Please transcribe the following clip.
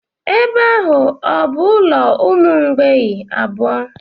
Ebe ahụ ọ bụ ụlọ umu mgbei abụọ.